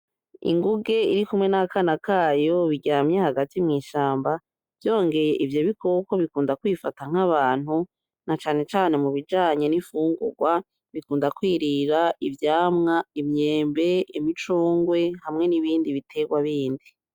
Inguge irikumwe n'akana kayo biryamye hagati mw'ishamba ,vyongeye ivyo bikoko bikunda kwifata nk'abantu na cane cane mubijanye n'imfungurwa, bikunda kwirira ivyamwa , imyembe, imicungwe, hamwe n'ibindi biterwa bindi.